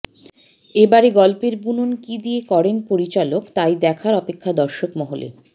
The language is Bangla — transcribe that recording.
এবারে গল্পের বুনন কি দিয়ে করেন পরিচালক তাই দেখার অপেক্ষা দর্শকমহলে